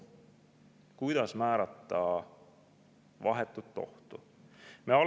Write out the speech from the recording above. Kuidas määrata vahetut ohtu?